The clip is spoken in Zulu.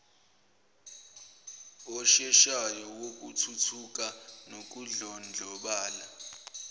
osheshayo wokuthuthuka nokudlondlobala